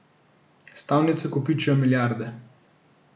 Stavnice kopičijo milijarde.